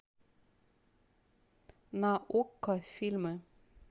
на окко фильмы